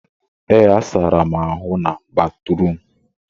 ee, sara m ahụ na batrum